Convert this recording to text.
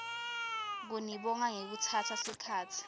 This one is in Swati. kunibonga ngekutsatsa sikhatsi